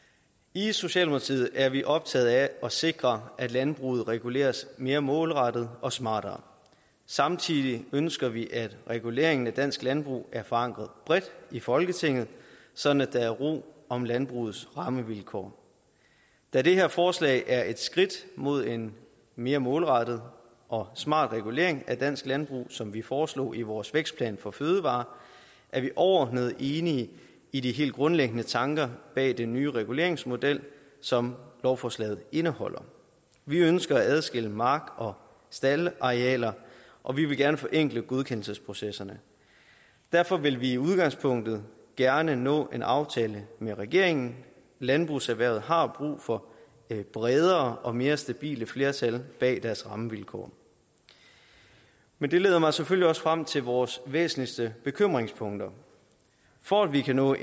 i socialdemokratiet er vi optaget af at sikre at landbruget reguleres mere målrettet og smartere samtidig ønsker vi at reguleringen af dansk landbrug er forankret bredt i folketinget sådan at der er ro om landbrugets rammevilkår da det her forslag er et skridt mod en mere målrettet og smartere regulering af dansk landbrug som vi foreslog i vores vækstplan for fødevarer er vi overordnet enige i de helt grundlæggende tanker bag den nye reguleringsmodel som lovforslaget indeholder vi ønsker at adskille mark og staldarealer og vi vil gerne forenkle godkendelsesprocesserne derfor vil vi i udgangspunktet gerne nå til en aftale med regeringen landbrugserhvervet har brug for bredere og mere stabile flertal bag deres rammevilkår men det leder mig selvfølgelig også frem til vores væsentligste bekymringspunkter for at vi kan nå